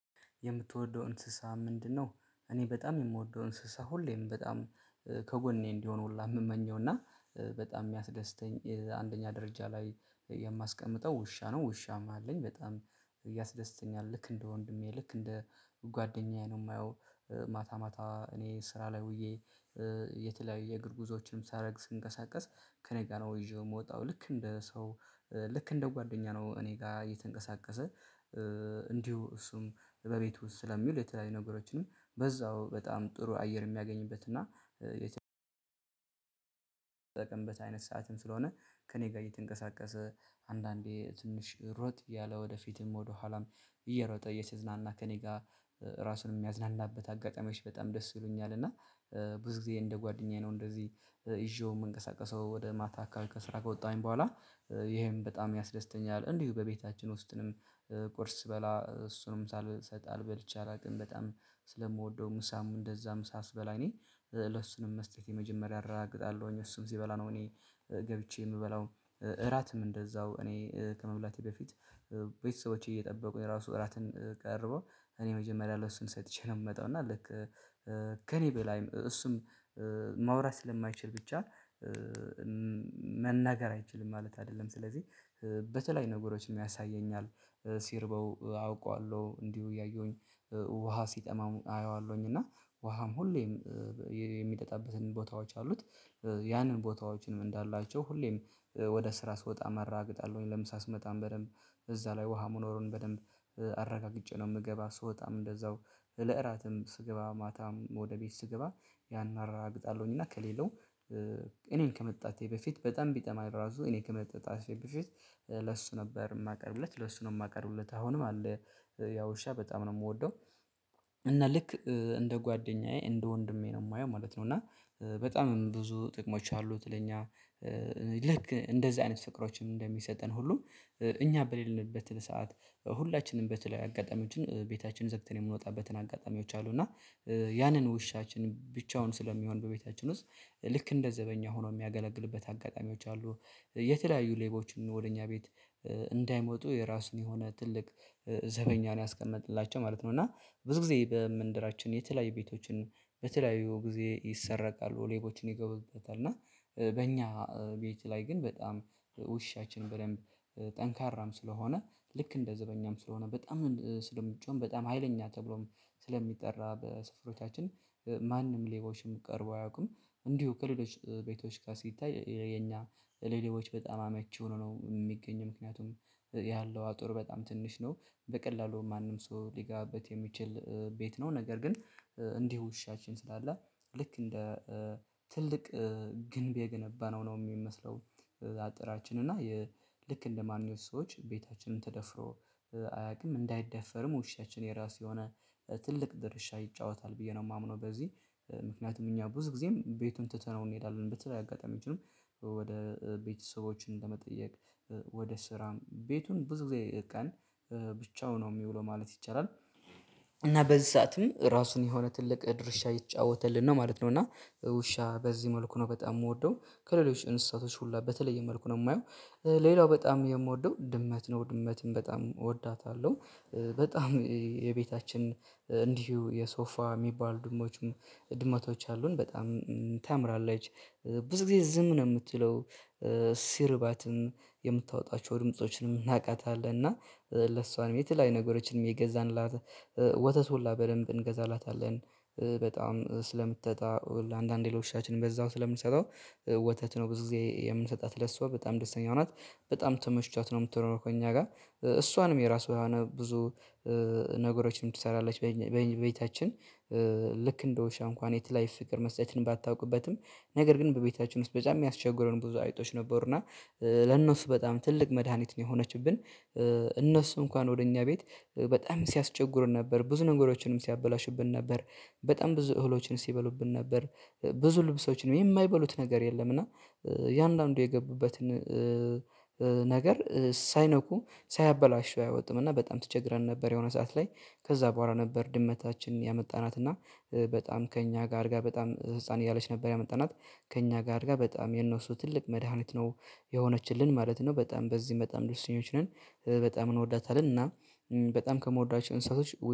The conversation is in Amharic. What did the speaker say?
የምትወደው እንስሳ ምንድነው? እኔ በጣም የምወደው እንስሳ ሁሌም በጣም ከጎኔ እንዲሆን ሁላ የምመኘው እና በጣም የሚያስደስተኝ አንደኛ ደረጃ ላይ የማስቀምጠው ውሻ ነው ውሻም አለኝ በጣም ያስደስተኛል ልክ እንደ ወንድሜ ልክ እንደ ጓደኛዬ ነው የማየው። ማታ ማታ እኔ ስራ ላይ ውዬ የተለያዩ የእግር ጉዞዎችንም ሳረግ ስንቀሳቀስ ከእኔ ጋር ነው ይዤው የምወጣው ልክ እንደ ሰው ልክ እንደ ጓደኛ ነው እኔ ጋር እየተንቀሳቀሰ። እንዲሁ እሱም በቤቱ ውስጥ ስለሚውል የተለያዩ ነገሮችንም በዛው በጣም ጥሩ አየር የሚያገኝበት እና የተጠቀምበት አይነት ሰዓትን ስለሆነ ከእኔ ጋር እየተንቀሳቀሰ አንዳንዴ ትንሽ ሮጥ እያለ ወደፊትም ወደኋላም እየሮጠ እየተዝናና ከእኔ ጋር ራሱን የሚያዝናናበት አጋጣሚዎች በጣም ደስ ይሉኛል። እና ብዙ ጊዜ እንደ ጓደኛዬ ነው እንደዚህ ይዤው የምንቀሳቀሰው ወደ ማታ አካባቢ ከስራ ጋር ከወጣሁኝ በኋላ ይሄን በጣም ያስደስተኛል። እንዲሁ በቤታችን ውስጥም ቁርስ ስበላ እሱንም ሳልሰጥ አል በልቼ አላውቅም በጣም ስለምወደው ምሳም እንደዛም ምሳ ስበላ እኔ ለእሱንም መስጠት የመጀመሪያ እራገግጣለሁኝ እሱን ሲበላ ነው። እኔ ገብቼ የምበላው እራትም እንደዛው እኔ ከመብላቴ በፊት ቤተሰቦቼ እየጠበቁ ራሱ እራትን ቀርቦ እኔ መጀመሪያ ለእሱ ሰጥቼ ነው የምመጣው እና ልክ ከእኔ በላይም እሱም ማውራት ስለማይችል ብቻ መናገር አይችልም። ማለት አይደለም ስለዚህ በተለይ ነገሮችን ያሳየኛል ሲርበው አውቀዋለሁ እንዲሁ እያየሁኝ ውሃ ሲጠማሙም አየዋለሁኝ። እና ውሃም ሁሌም የሚጠጣበትን ቦታዎች አሉት። ያንን ቦታዎችንም እንዳላቸው ሁሌም ወደ ስራ ስወጣ አራግጣለሁኝ ለምሳ ስመጣም በደንብ እዛ ላይ ውሃ መኖሩን በደንብ አረጋግጬ ነው የምገባ። ስወጣም እንደዛው ለእራትም ስገባ ማታም ወደ ቤት ስገባ ያን አራግጣለሁኝ እና ከሌለው እኔን ከመጠጣቴ በፊት በጣም ቢጠማ ራሱ እኔ ከመጠጣቴ በፊት ለእሱ ነበር የማቀርብለት ለእሱ ነው የማቀርብለት አሁንም አለ ያው ውሻ በጣም ነው የምወደው። እና ልክ እንደ ጓደኛዬ እንደ ወንድሜ ነው የማየው ማለት ነው። እና በጣም ብዙ ጥቅሞች አሉት ለኛ ልክ እንደዚህ አይነት ፍቅሮችን እንደሚሰጠን ሁሉ እኛ በሌለንበት ሰዓት ሁላችንም በተለያየ አጋጣሚዎችን ቤታችን ዘግተን የምንወጣበትን አጋጣሚዎች አሉ። እና ያንን ውሻችን ብቻውን ስለሚሆን በቤታችን ውስጥ ልክ እንደ ዘበኛ ሆኖ የሚያገለግልበት አጋጣሚዎች አሉ። የተለያዩ ሌቦችን ወደ እኛ ቤት እንዳይመጡ የራሱን የሆነ ትልቅ ዘበኛ ነው ያስቀመጥንላቸው ማለት ነው። እና ብዙ ጊዜ በመንደራችን የተለያዩ ቤቶችን በተለያዩ ጊዜ ይሰረቃሉ ሌቦችም ይገቡበታል እና በእኛ ቤት ላይ ግን በጣም ውሻችን በደንብ ጠንካራም ስለሆነ ልክ እንደ ዘበኛም ስለሆነ በጣም ስለምጮህም በጣም ሀይለኛ ተብሎም ስለሚጠራ በስፍሮቻችን ማንም ሌቦችን ቀርበው አያውቁም። እንዲሁ ከሌሎች ቤቶች ጋር ሲታይ የኛ ሌሊቦች በጣም አመቺ ሆኖ ነው የሚገኝ ምክንያቱም ያለው አጥር በጣም ትንሽ ነው በቀላሉ ማንም ሰው ሊጋበት የሚችል ቤት ነው። ነገር ግን እንዲህ ውሻችን ስላለ ልክ እንደ ትልቅ ግንብ የገነባ ነው ነው የሚመስለው። አጥራችን እና የልክ እንደማንኛውም ሰዎች ቤታችንን ተደፍሮ አያውቅም እንዳይደፈርም ውሻችን የራሱ የሆነ ትልቅ ድርሻ ይጫወታል ብዬ ነው የማምነው። በዚህ ምክንያቱም እኛ ብዙ ጊዜም ቤቱን ትተነው እንሄዳለን በተለያየ አጋጣሚዎችንም ወደ ቤተሰቦችን ለመጠየቅ ወደ ስራም ቤቱን ብዙ ጊዜ ቀን ብቻው ነው የሚውለው ማለት ይቻላል። እና በዚ ሰዓትም ራሱን የሆነ ትልቅ ድርሻ እየተጫወተልን ነው ማለት ነው። እና ውሻ በዚህ መልኩ ነው በጣም የምወደው ከሌሎች እንስሳቶች ሁላ በተለየ መልኩ ነው የማየው። ሌላው በጣም የምወደው ድመት ነው ድመትን በጣም እወዳታለሁ። በጣም የቤታችን እንዲሁ የሶፋ የሚባል ድምዶች ድመቶች አሉን በጣም ታምራለች። ብዙ ጊዜ ዝም ነው የምትለው ስርባትን የምታወጣቸው ድምፆችን የምናቃታለን እና ለእሷን የተለያዩ ነገሮችን እየገዛንላት ወተት ሁላ በደንብ እንገዛላታለን። በጣም ስለምትጠጣ አንዳንድ ለውሻችንም በዛው ስለምንሰጠው ወተት ነው ብዙ ጊዜ የምንሰጣት ለእሷ በጣም ደስተኛ ናት። በጣም ተመችቷት ነው የምትኖረው ከእኛ ጋር እሷንም የራሱ ብዙ ነገሮችን ትሰራለች በቤታችን። ልክ እንደ ውሻ እንኳን የተለየ ፍቅር መስጠትን ባታውቅበትም ነገር ግን በቤታችሁ ውስጥ በጣም የሚያስቸግሩን ብዙ አይጦች ነበሩና ለእነሱ በጣም ትልቅ መድሃኒት ነው የሆነችብን። እነሱ እንኳን ወደ እኛ ቤት በጣም ሲያስቸግሩን ነበር ብዙ ነገሮችንም ሲያበላሹብን ነበር። በጣም ብዙ እህሎችን ሲበሉብን ነበር ብዙ ልብሶችን የማይበሉት ነገር የለም። እና የአንዳንዱ የገቡበትን ነገር ሳይነኩ ሳያበላሹ አይወጡምና በጣም ተቸግረን ነበር። የሆነ ሰዓት ላይ ከዛ በኋላ ነበር ድመታችን ያመጣናት እና በጣም ከእኛ ጋር አድጋ በጣም ህፃን እያለች ነበር ያመጣናት ከእኛ ጋር አድጋ በጣም የነሱ ትልቅ መድሃኒት ነው የሆነችልን ማለት ነው። በጣም በዚህ በጣም ደስተኞች ነን። በጣም እንወዳታለን እና በጣም ከምወዳቸው እንስሳቶች